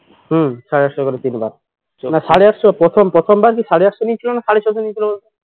হম সাড়ে আটশ করে তিনবার না সাড়ে আটশ প্রথম প্রথম বার কি সাড়ে আটশো নিয়েছিল না সাড়ে ছশো নিয়েছিল